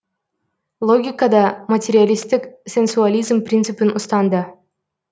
логикада материалистік сенсуализм принципін ұстанды